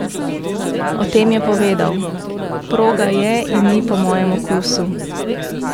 O tem je povedal: "Proga je in ni po mojem okusu.